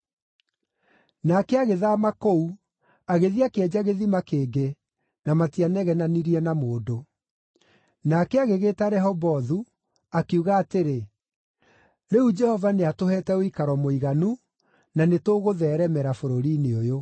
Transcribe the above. Nake agĩthaama kũu, agĩthiĩ akĩenja gĩthima kĩngĩ, na matianegenanirie na mũndũ. Nake agĩgĩĩta Rehobothu, akiuga atĩrĩ, “Rĩu Jehova nĩatũheete ũikaro mũiganu, na nĩtũgũtheeremera bũrũri-inĩ ũyũ.”